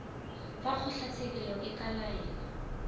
fa kgotlatshekelo e ka laela